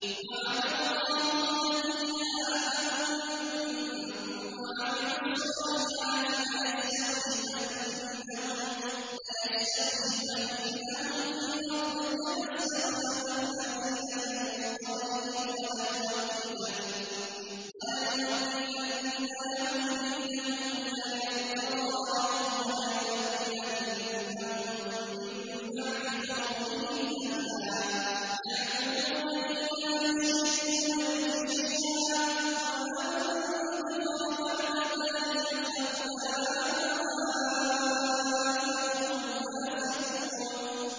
وَعَدَ اللَّهُ الَّذِينَ آمَنُوا مِنكُمْ وَعَمِلُوا الصَّالِحَاتِ لَيَسْتَخْلِفَنَّهُمْ فِي الْأَرْضِ كَمَا اسْتَخْلَفَ الَّذِينَ مِن قَبْلِهِمْ وَلَيُمَكِّنَنَّ لَهُمْ دِينَهُمُ الَّذِي ارْتَضَىٰ لَهُمْ وَلَيُبَدِّلَنَّهُم مِّن بَعْدِ خَوْفِهِمْ أَمْنًا ۚ يَعْبُدُونَنِي لَا يُشْرِكُونَ بِي شَيْئًا ۚ وَمَن كَفَرَ بَعْدَ ذَٰلِكَ فَأُولَٰئِكَ هُمُ الْفَاسِقُونَ